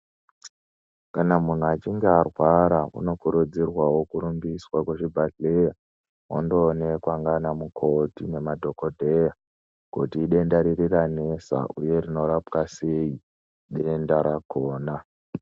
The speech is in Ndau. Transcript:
Kana munhu achinge arwara uno kurudzirwawo kurumbiswa ku zvibhadhleya ondo onekwa nana mukoti nema dhokodheya kuti idenda riri ranesa uye rino rapwa sei denda rakona.